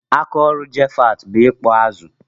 Aka ọrụ Japheth bụ ịkụ azụ.